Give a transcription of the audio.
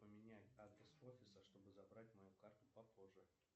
поменять адрес офиса чтобы забрать мою карту попозже